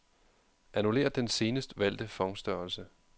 Annullér den senest valgte font-størrelse.